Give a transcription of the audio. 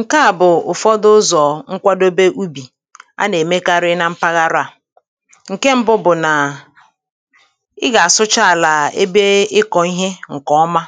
ǹkeà bụ̀ ụ̀fọdụ ụzọ̀ nkwadobe ubì a nà-èmekarị na mpaghara à [paues]ǹke ṁbụ bụ̀ nà i gà-àsụcha àlà ebe ịkọ̀ ihe ǹkè ọma